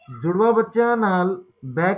ਓਹਨੂੰ